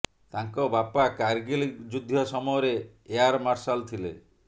ତାଙ୍କ ବାପା କାର୍ଗିଲ ଯୁଦ୍ଧ ସମୟରେ ଏୟାର ମାର୍ସାଲ ଥିଲେ